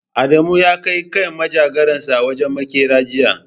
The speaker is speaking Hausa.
Adamu ya kai manjagaransa wajen maƙeri jiya.